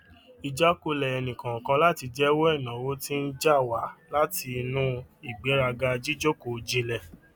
ìjákulẹ ènìkọọkan láti jẹwọ ináwó tí ń jà wá láti inú ìgbéraga jíjókòó jìnlẹ